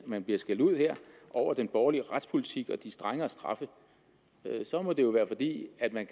man bliver skældt ud her over den borgerlige retspolitik og de strengere straffe så må det være fordi at man